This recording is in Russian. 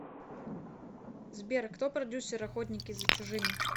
сбер кто продюссер охотники за чужими